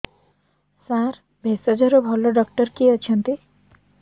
ସାର ଭେଷଜର ଭଲ ଡକ୍ଟର କିଏ ଅଛନ୍ତି